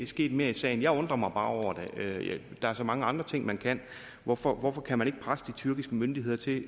sket mere i sagen jeg undrer mig bare over det der er så mange andre ting man kan hvorfor hvorfor kan man ikke presse de tyrkiske myndigheder til